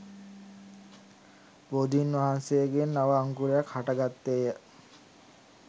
බෝධීන් වහන්සේගෙන් නව අංකුරයක් හට ගත්තේ ය.